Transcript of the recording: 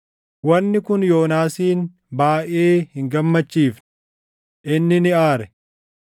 Wanni kun Yoonaasin baayʼee hin gammachiifne; inni ni aare.